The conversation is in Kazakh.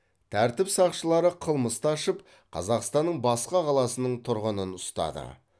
тәртіп сақшылары қылмысты ашып қазақстанның басқа қаласының тұрғынын ұстады